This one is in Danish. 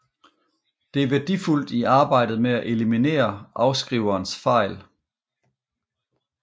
Det er værdifuldt i arbejdet med at eliminere afskrivernes fejl